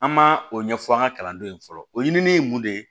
An ma o ɲɛfɔ an ka kalandenw ye fɔlɔ o ɲini ye mun de ye